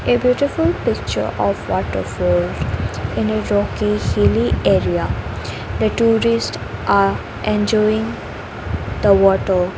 a beautiful picture of water falls in a rocky hilly area the tourist are enjoying the water .